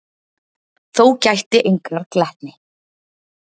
Þó gætti engrar glettni.